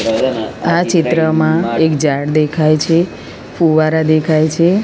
આ ચિત્રમાં એક ઝાડ દેખાય છે ફુવારા દેખાય છે.